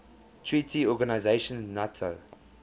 treaty organization nato